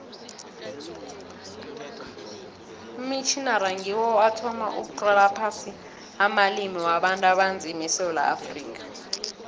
amamitjhnari ngiwo athoma ukutlola phasi amalimi wabantu abanzima esewula afrika